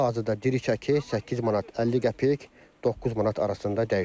Hal-hazırda diri çəki 8 manat 50 qəpik, 9 manat arasında dəyişir.